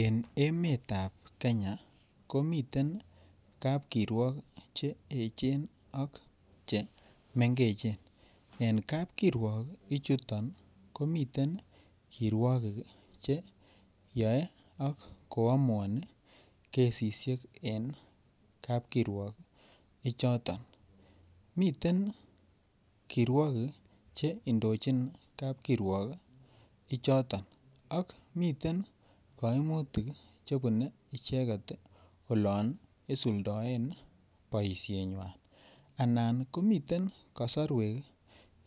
En emet nebo Kenya ko miten kapkiruok Che echen ak chemengechen en kapkiruok I chuto komiten kiruogik Che yoe ak koamuani kesisiek en kapkiruok ichoton miten kiruogik Che indochin kapkiruok ichoton ak miten kaimutik Che bune icheget olon isuldoen boisienywa anan komiten kasarwek